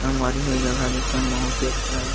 संगवारी हो ये जगह देख मा बहुत ही अच्छा लगत--